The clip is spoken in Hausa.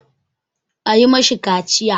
A yi ma shi kaciya!